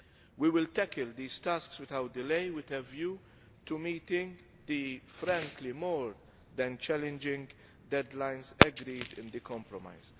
We will tackle these tasks without delay with a view to meeting the frankly more than challenging deadlines agreed in the compromise.